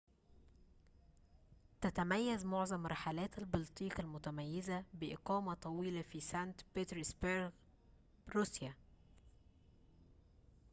تتميز معظم رحلات البلطيق المتميزة بإقامة طويلة في سانت بطرسبرغ روسيا